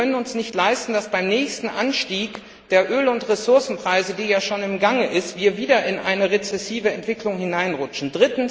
Wir können es uns nicht leisten, beim nächsten Anstieg der Öl und Ressourcenpreise, der ja schon im Gange ist, wieder in eine rezessive Entwicklung hineinzurutschen.